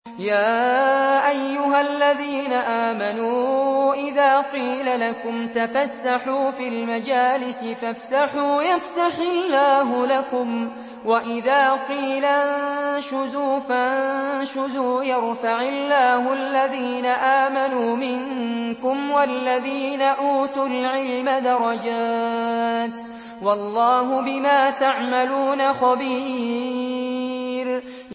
يَا أَيُّهَا الَّذِينَ آمَنُوا إِذَا قِيلَ لَكُمْ تَفَسَّحُوا فِي الْمَجَالِسِ فَافْسَحُوا يَفْسَحِ اللَّهُ لَكُمْ ۖ وَإِذَا قِيلَ انشُزُوا فَانشُزُوا يَرْفَعِ اللَّهُ الَّذِينَ آمَنُوا مِنكُمْ وَالَّذِينَ أُوتُوا الْعِلْمَ دَرَجَاتٍ ۚ وَاللَّهُ بِمَا تَعْمَلُونَ خَبِيرٌ